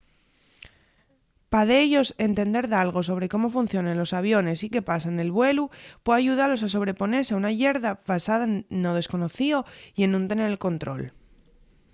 pa dellos entender dalgo sobre cómo funcionen los aviones y qué pasa nel vuelu pue ayudalos a sobreponese a una llerza basada no desconocío y en nun tener el control